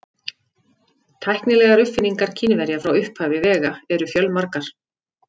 Tæknilegar uppfinningar Kínverja frá upphafi vega eru fjölmargar.